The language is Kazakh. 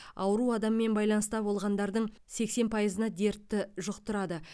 ауру адаммен байланыста болғандардың сексен пайызына дертті жұқтырады